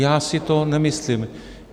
Já si to nemyslím.